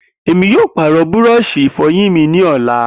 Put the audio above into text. Emi yoo paarọ búrọ̀ọ̀sì ìfọyín mi ni ọla.